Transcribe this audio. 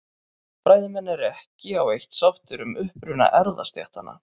Fræðimenn eru ekki á eitt sáttir um uppruna erfðastéttanna.